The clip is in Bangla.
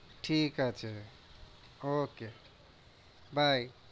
ঠিক আছে, ওকে বাই।